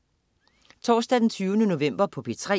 Torsdag den 20. november - P3: